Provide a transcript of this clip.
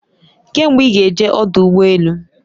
Kee mgbe i ga eje odu ugbo elu?